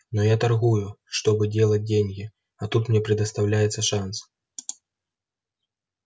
но я торгую чтобы делать деньги а тут мне предоставляется шанс